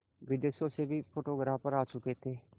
विदेशों से भी फोटोग्राफर आ चुके थे